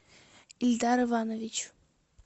эльдар иванович